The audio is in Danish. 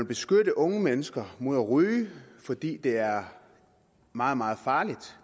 beskytte unge mennesker mod at ryge fordi det er meget meget farligt